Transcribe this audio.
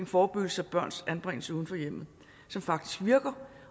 forebyggelse af børns anbringelse uden for hjemmet som faktisk virker